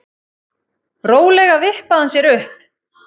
Rólega vippaði hann sér upp.